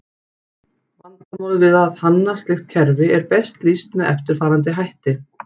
Vandamál við að hanna slíkt kerfi er best lýst með eftirfarandi hætti.